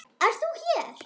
Ert þú hér!